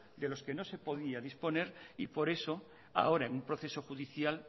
de los que nos se podía disponer y por eso ahora en un proceso judicial